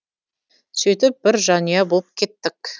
сөйтіп бір жанұя болып кеттік